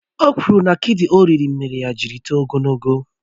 Ò kwụrụ na akidi ò riri mére ya jiri tóo ogologo